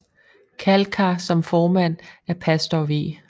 Kalkar som formand af pastor V